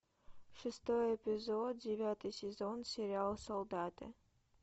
шестой эпизод девятый сезон сериал солдаты